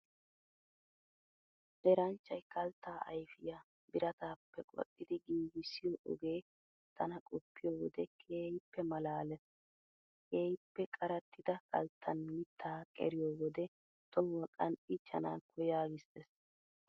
Eranchchay kalttaa ayfiyaa birataappe qoxxidi giigisiyo ogee tana qoppiyo wode keehippe malaalees. Keehippe qarattida kalttan mittaa qeriyo wode tohuwaa qanxxiichanaakko yaagissees.